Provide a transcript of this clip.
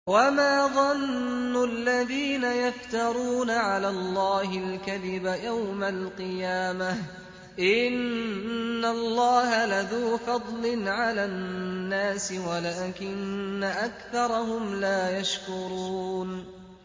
وَمَا ظَنُّ الَّذِينَ يَفْتَرُونَ عَلَى اللَّهِ الْكَذِبَ يَوْمَ الْقِيَامَةِ ۗ إِنَّ اللَّهَ لَذُو فَضْلٍ عَلَى النَّاسِ وَلَٰكِنَّ أَكْثَرَهُمْ لَا يَشْكُرُونَ